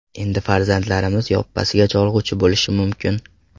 Endi farzandlarimiz yoppasiga cholg‘uchi bo‘lishi mumkin.